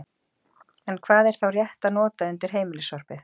En hvað er þá rétt að nota undir heimilissorpið?